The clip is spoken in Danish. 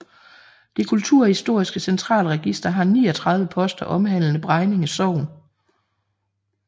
Det kulturhistoriske Centralregister har 39 poster omhandlende Bregninge Sogn